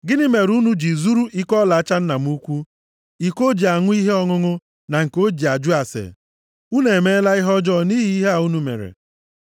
Gịnị mere unu ji zuru iko ọlaọcha nna m ukwu, iko o ji aṅụ ihe ọṅụṅụ na nke o ji ajụ ase? Unu emeela ihe ọjọọ nʼihi ihe a unu mere.’ ”